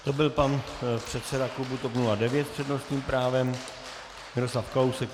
To byl pan předseda klubu TOP 09 s přednostním právem Miroslav Kalousek.